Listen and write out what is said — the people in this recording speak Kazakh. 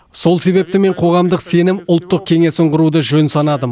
сол себепті мен қоғамдық сенім ұлттық кеңесін құруды жөн санадым